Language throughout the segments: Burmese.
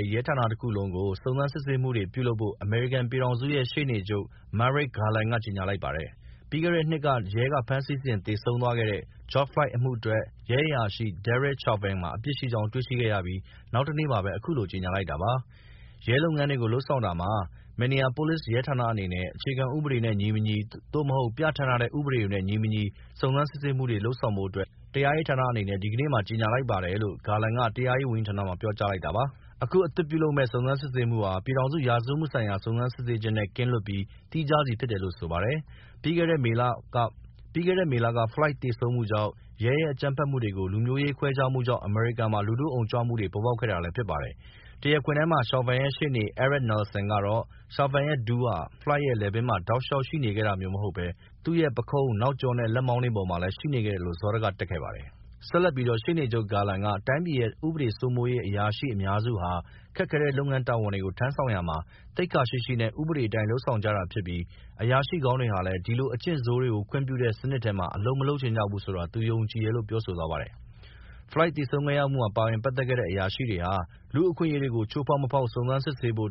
ဲ့ ရဲဌာနတခုလုံးကို စုံစမ်းစစ်ဆေးမှုတွေပြုလုပ်ဖို့ အမေရိကန်ပြည်ထောင်စုရဲ့ ရှေ့နေချု့ပ် Merrick Garland က ကြေညာလိုက်ပါတယ်။ ပြီးခဲ့တဲ့နှစ်က ရဲက ဖမ်းဆီးစဉ်သေဆုံးသွားတဲ့ George Floyd အမှုအတွက် ရဲအရာရှိ Derek Chauvin မှာ အပြစ်ရှိကြောင်း တွေ့ရှိရပြီး နောက်တနေ့မှာပဲ အခုလို ကြေညာလိုက်တာပါ။ ရဲလုပ်ငန်းတွေကို လုပ်ဆောင်တာမှာ Minneapolis Police ရဲဌာနအနေနဲ့ အခြေခြေဥပဒေနဲ့ညီမညီ သို့မဟုတ် ပြဌာန်းထားတဲ့ ဥပဒေတွေနဲ့ညီမညီ စုံစမ်းစစ်ဆေးမှုတွေလုပ်ဆောင်ဖို့ တရားရေးဌာန အနေနဲ့ဒီကနေ့မှာ ကြေညာလိုက်ပါတယ် လို့ Garland က တရားရေး ဝန်ကြီးဌာနမှာ ပြောကြားလိုက်ပါတယ်။ အခုအသစ်လုပ်မယ့် စုံစမ်းစစ်ဆေးမှုဟာ ပြည်ထောင်စု ရာဇဝတ်မှုဆိုင်ရာ စုံစမ်းစစ်ဆေးခြင်းနဲ့ ကင်းလွတ်ပြီး သီးခြားစီဖြစ်တယ်လို့ဆိုပါတယ်။ ပြီးခဲ့တဲ့ မေလက Floyd သေဆုံး မှုကြောင့် ရဲ ရဲ့ အကြမ်းဖက်မှုတွေ နဲ့လူမျိူးရေးခွဲခြားမှုတွေကြောင့် အမေရိကန်မှာ လူထုအုံကြွမှုတွေ ပေါ်ပေါက်ခဲ့တာဖြစ်ပါတယ်။ တရားခွင်ထဲမှာ Chauvin ရဲ့ ရှေ့နေ Eric Nelson ကတော့ Chauvin ရဲ့ ဒူးဟာ တဘက်ရှေ့နေတွေပြောသလို Floyd ရဲ့ လည်ပင်းမှာ တောက်လျှောက်ရှိနေခဲ့တာမျိူးမဟုတ်ပဲ သူ့ရဲ့ ပုခုံး၊ နောက်ကျောနဲ့လက်မောင်းတွေပေါ်မှာလည်း ရှိခဲ့တယ်လို့ စောတကတက်ခဲ့ပါတယ်။ ဆက်လက်ပြီး ရှေ့နေချုပ် Garland က တိုင်းပြည်ရဲ့ ဥပဒေစိုးမိုးရေး အရာရှိအများစုဟာ ခက်ခဲတဲ့ လုပ်ငန်းတာဝန်တွေကို လုပ်ဆောင်ရာမှာ သိက္ခာရှိရှိနဲ့ဥပဒေအတိုင်းလုပ်ဆောင်ကြတာဖြစ်ပြီး အရာရှိကောင်းတွေဟာလည်း ဒီလို အကျင့်ဆိုးတွေကို ခွင့်ပြုတဲ့ စနစ်ထဲမှာ အလုပ်မလုပ်ချင်ကြဘူးဆိုတာ သူယုံကြည်တယ်လို့ပြောဆိုသွားပါတယ်။ Floyd သေဆုံးခဲ့ရမှုမှာ ပါဝင်ပက်သက်တဲ့ အရာရှိတွေဟာ လူမှုအခွင့်အရေးတွေကို ချိူးဖောက် မဖောက် စုံစမ်းစစ်ဆေးဖို့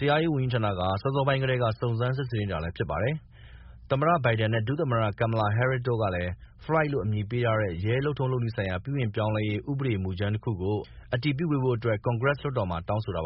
တရားရေးဝန်ကြီးှဌာနက စောစောပိုင်းကတည်းက စုံစမ်းစစ်ဆေးနေတာလည်းဖြစ်ပါတယ်။ သမ္မတ ဘိုင်ဒန်နဲ့ဒုသမ္မတ Kamala Harris တို့ကလည်း Floyd လို့အမည်ပေးထားတဲ့ ရဲလုပ်ထုံး လုပ်နည်းဆိုင်ရာ ပြုပြင်ပြောင်းလဲရေး ဥပဒေမူကြမ်းတခုကို အတည်ပြုပေးဖို့ကွန်ဂရက်လွှတ်တော်မှာ တောင်းဆိုထားပါ